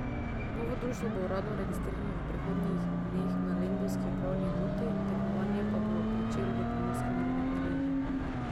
Novo društvo bo uradno registrirano v prihodnjih dneh na lendavski upravni enoti, tekmovanje pa bo pričelo v Pomurski nogometni ligi.